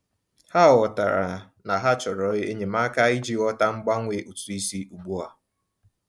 Ha ghọtara na ha chọrọ enyemaka iji ghọta mgbanwe ụtụ isi ugbu a.